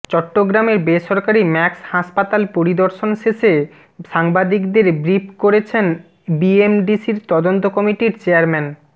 চট্টগ্রামের বেসরকারি ম্যাক্স হাসপাতাল পরিদর্শন শেষে সাংবাদিকদের ব্রিফ করছেন বিএমডিসির তদন্ত কমিটির চেয়ারম্যান